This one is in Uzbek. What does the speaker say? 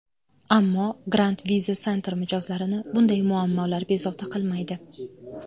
Ammo, Grand Visa Center mijozlarini bunday muammolar bezovta qilmaydi.